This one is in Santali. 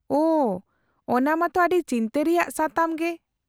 -ᱳᱺ, ᱚᱱᱟ ᱢᱟ ᱛᱚ ᱟᱹᱰᱤ ᱪᱤᱱᱛᱟᱹ ᱨᱮᱭᱟᱜ ᱥᱟᱛᱟᱢ ᱜᱮ ᱾